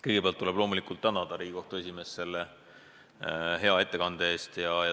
Kõigepealt tuleb loomulikult tänada Riigikohtu esimeest selle hea ettekande eest.